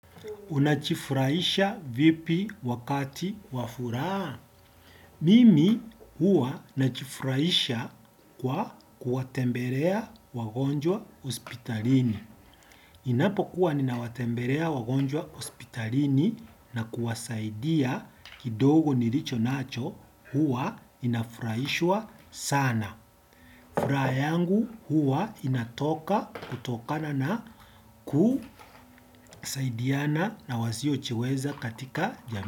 Unajifurahisha vipi wakati wafuraha? Mimi huwa najifurahisha kwa kuwatembelea wagonjwa hospitalini. Ninapokuwa ninawatembelea wagonjwa hospitalini na kuwasaidia kidogo nilicho nacho huwa ninafurahishwa sana. Furaha yangu huwa inatoka kutokana na kusaidiana na wasiojicheweza katika jami.